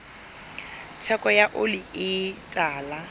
theko ya oli e tala